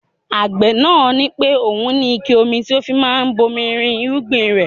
Agbe náà ní pé òun ní ike omi tí ó fi máa ń bomi rin irúgbìn rẹ.